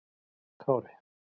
Kári